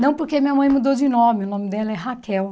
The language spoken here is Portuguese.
Não porque minha mãe mudou de nome, o nome dela é Raquel.